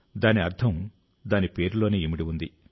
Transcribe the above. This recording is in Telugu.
దాని అర్థం దాని పేరులోనే ఇమిడిఉంది